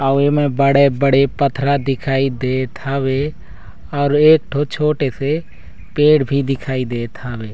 और एमे बड़े-बड़े पत्थरा दिखाई देत हवे और एक थो छोटे से पेड़ भी दिखाई देत हवे।